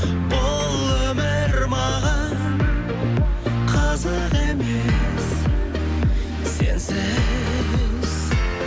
бұл өмір маған қызық емес сенсіз